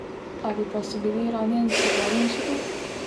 Ali pa so bili ranjenci varnejši tu?